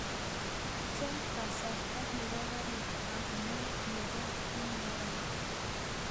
Cheng kasarta nebo garit ab maat nebo ny